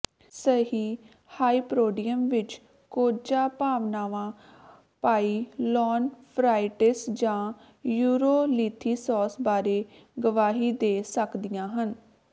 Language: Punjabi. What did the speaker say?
ਸਹੀ ਹਾਈਪੋਡ੍ਰੀਅਮ ਵਿਚ ਕੋਝਾ ਭਾਵਨਾਵਾਂ ਪਾਈਲੋਨਫ੍ਰਾਈਟਿਸ ਜਾਂ ਯੂਰੋਲੀਥੀਸਾਸ ਬਾਰੇ ਗਵਾਹੀ ਦੇ ਸਕਦੀਆਂ ਹਨ